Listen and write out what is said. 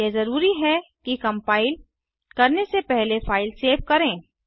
यह जरूरी है कि कम्पाइल करने से पहले फ़ाइल सेव करें